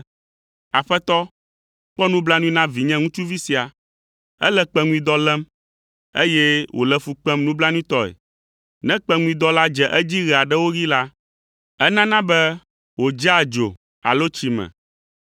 “Aƒetɔ, kpɔ nublanui na vinye ŋutsuvi sia; ele kpeŋuidɔ lém, eye wòle fu kpem nublanuitɔe. Ne kpeŋuidɔ la dze edzi ɣe aɖewo ɣi la, enana be wòdzea dzo alo tsi me.